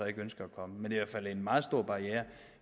ikke ønsker at komme men det er fald en meget stor barriere